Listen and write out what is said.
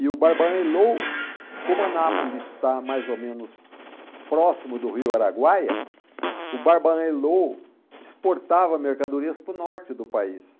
E o Barbaan Elou, como Anápolis está mais ou menos próximo do Rio Araguaia, o Barbaan Elou exportava mercadorias para o norte do país.